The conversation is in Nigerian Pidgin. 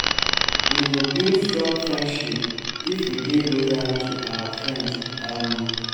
we go build strong friendship if we dey loyal to our friends. um